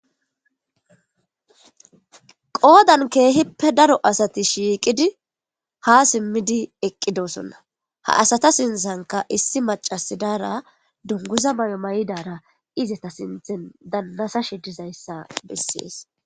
qoodan keehippe daro asati shiiqidi ha simmidi eqqidosonna ha asata sinsanka issi macasidaara dunguza may7o may7idara izeta sinthen dannasashe dizayssa bessees